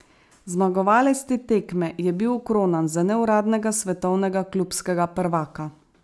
Zmagovalec te tekme je bil okronan za neuradnega svetovnega klubskega prvaka.